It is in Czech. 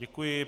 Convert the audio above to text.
Děkuji.